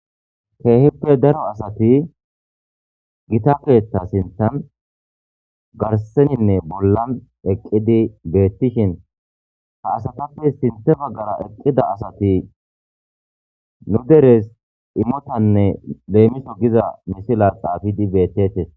Keehippe daro asati gita keeththa sinththan garseninne bollan eqqidi beetishin ha asatappe sinththe baggara eqqida asati nu deres imotanne leemiso giza misila xaafidi beetetees.